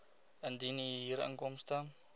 indien u huurinkomste